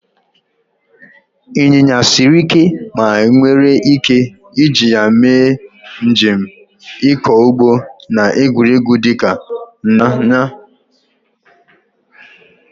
Ịnyịnya siri ike ma enwere ike iji ya mee njem, ịkọ ugbo, na egwuregwu dịka ịnya ịnyịnya.